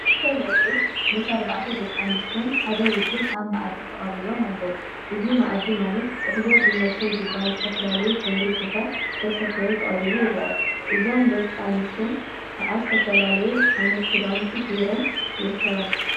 ክልተ መርዑት ምሰ አርባዕተ ደቂ አንስትዮን ሓደ ወዲን አብ መአዲ ተቀሪቦም ይርከቡ፡፡ እዚ መአዲ ማለት ጥሕሎ ብመሶብ ዝበሃል ዝተፈላለዩ ሕብሪ ስፈ ዝተሰፈየ ተቀሪቡ ይርአ፡፡ እዞን ደቂ አንስትዮ ከዓ ዝተፈላለየ ዓይነተ ክዳውንቲ ገይረን ይርከባ፡፡